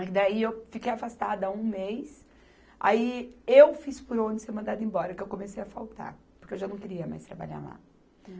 Aí daí eu fiquei afastada um mês, aí eu fiz por onde ser mandada embora, que eu comecei a faltar, porque eu já não queria mais trabalhar lá.